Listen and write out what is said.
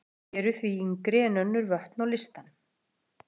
Þau eru því yngri en önnur vötn á listanum.